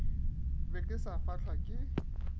be ke sa fahlwa ke